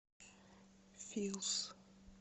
филс